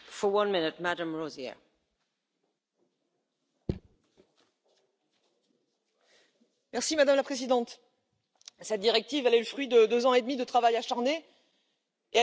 Madame la Présidente, cette directive est le fruit de deux ans et demi de travail acharné et elle est attendue par toute la culture européenne artistes, auteurs, journalistes, producteurs, éditeurs, chercheurs.